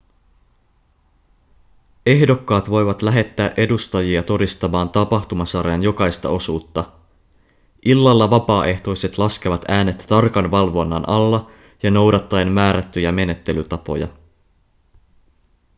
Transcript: ehdokkaat voivat lähettää edustajia todistamaan tapahtumasarjan jokaista osuutta illalla vapaaehtoiset laskevat äänet tarkan valvonnan alla ja noudattaen määrättyjä menettelytapoja